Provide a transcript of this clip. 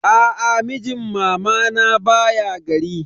Aa, mijin mamana baya gari.